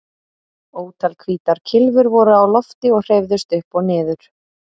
Ótal hvítar kylfur voru á lofti og hreyfðust upp og niður.